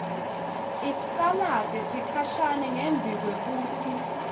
icalate sikhashana ngembikwekutsi